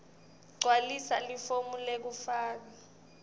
gcwalisa lelifomu lekufaka